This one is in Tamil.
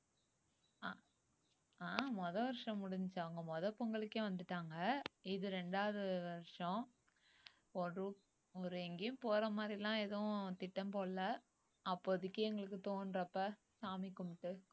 அஹ் அஹ் முதல் வருஷம் முடிஞ்சுச்சு அவங்க முத பொங்கலுக்கே வந்துட்டாங்க இது ரெண்டாவது வருஷம் ஒரு ஒரு எங்கயும் போற மாதிரிலாம் எதுவும் திட்டம் போடல அப்போதைக்கு எங்களுக்கு தோண்றப்ப சாமி கும்பிட்டு